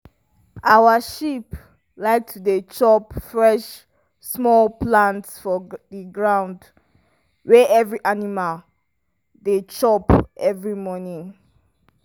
our sheep like to dey chop fresh small plants for the ground wey every animal dey chop every morning.